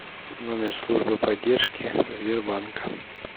номер службы поддержки сбербанка